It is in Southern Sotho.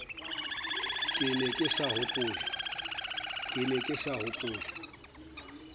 ke ne ke sa hopole